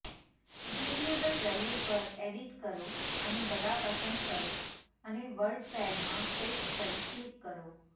variable value પર edit કરો અને બધા પસંદ કરો અને વર્ડપેડમાં પેસ્ટ કરો ક્લિક કરો